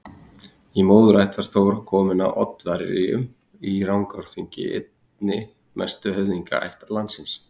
Í móðurætt var Þóra komin af Oddaverjum í Rangárþingi, einni mestu höfðingjaætt landsins.